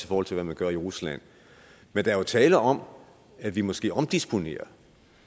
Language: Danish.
forhold til hvad man gør i rusland men der er jo tale om at vi måske omdisponerer